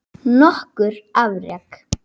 Nokkur afrek